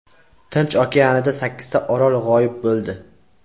Tinch okeanida sakkizta orol g‘oyib bo‘ldi.